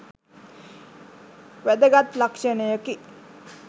වැදගත් ලක්ෂණයකි